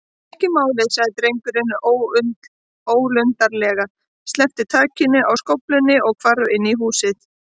Ekki málið- sagði drengurinn ólundarlega, sleppti takinu á skóflunni og hvarf inn í húsið.